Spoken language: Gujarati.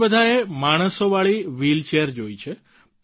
આપણે બધાએ માણસો વાળી વ્હીલચેર જોઈ છે